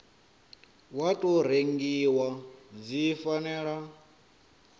wa tou rengiwa dzi fanela